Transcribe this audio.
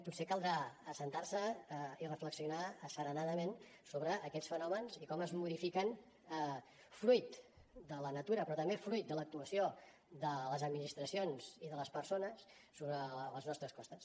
potser caldrà asseure’s i reflexionar asserenadament sobre aquests fenòmens i com es modifiquen fruit de la natura però també fruit de l’actuació de les administracions i de les persones sobre les nostres costes